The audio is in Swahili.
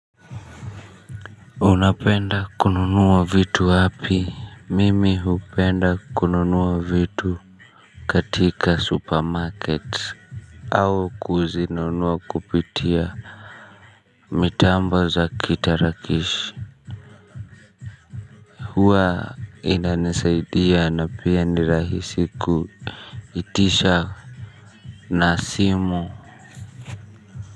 Unapenda kununuwa vitu wapi mimi hupenda kununua vitu katika supermarket au kuzinunuwa kupitia mitamba za kitarakishi huwa inanisaidia na pia ni rahisi kuitisha na simu.